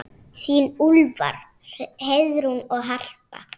Þín Úlfar, Heiðrún og Harpa.